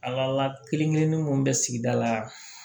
A ka kelen kelen-kelen mun bɛ sigida la